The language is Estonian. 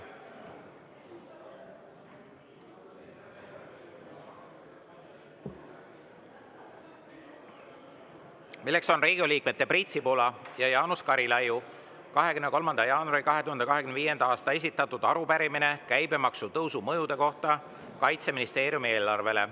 Selleks on Riigikogu liikmete Priit Sibula ja Jaanus Karilaiu 23. jaanuaril 2025. aastal esitatud arupärimine käibemaksu tõusu mõjude kohta Kaitseministeeriumi eelarvele.